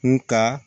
Nga